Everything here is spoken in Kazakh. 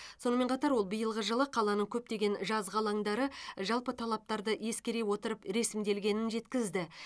сонымен қатар ол биылғы жылы қаланың көптеген жазғы алаңдары жалпы талаптарды ескере отырып ресімделгенін жеткізді